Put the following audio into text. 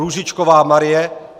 Růžičková Marie